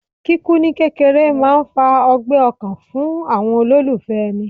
Kíkú ní kékeré máà ń fa ọgbẹ́ ọkàn fún àwọn olólùfẹ́ èni